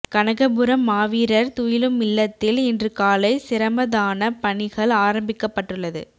கனகபுரம் மாவீரர் துயிலுமில்லத்தில் இன்று காலை சிரமதானப் பணிகள் ஆரம்பிக்கப்பட்டுள்ளது